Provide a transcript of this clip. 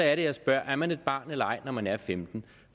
er det jeg spørger er man et barn eller ej når man er femten